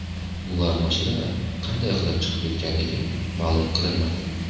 Ular mashinadan qanday qilib chiqib ketganligi ma’lum qilinmadi.